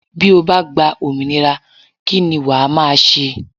Bí o bá gba òmìnira kí ni wàá máa ṣe?